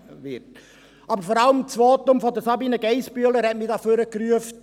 Aber vor allem hat mich das Votum von Sabina Geissbühler nach vorne gerufen.